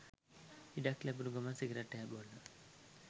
ඉඩක් ලැබුනු ගමන් සිගරට් එකක් බොන්න